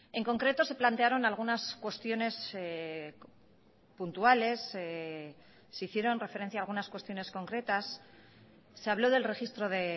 en concreto se plantearon algunas cuestiones puntuales se hicieron referencia a algunas cuestiones concretas se habló del registro de